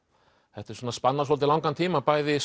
þetta svona spannar svolítið langan tíma bæði